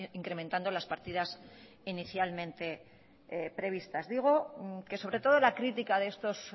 incrementando las partidas inicialmente previstas digo que sobre todo la crítica de estos